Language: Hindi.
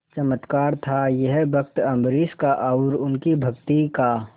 चमत्कार था यह भक्त अम्बरीश का और उनकी भक्ति का